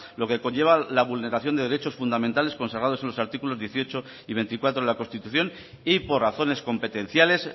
lo que conlleva la vulneración de derechos fundamentales consagrados en los artículos dieciocho y veinticuatro de la constitución y por razones competenciales